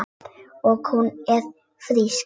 Og hún er frísk.